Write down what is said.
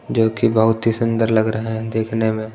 जो कि बहुत ही सुंदर लग रहा है देखने में।